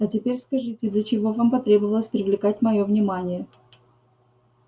а теперь скажите для чего вам потребовалось привлекать моё внимание